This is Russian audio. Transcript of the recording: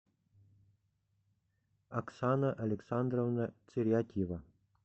оксана александровна цирятьева